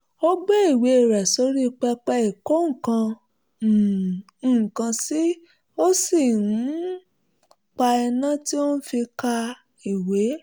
ó gbé ìwé rẹ̀ sí orí pẹpẹ ìkó um nǹkan sí ó sì um pa iná tí ó fi ń ka ń ka ìwé